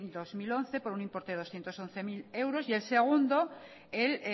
dos mil once por un importe de doscientos once mil euros y el segundo el